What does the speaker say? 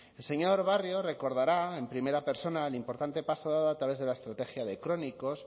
el señor barrio recordará en primera persona el importante paso dado a través de la estrategia de crónicos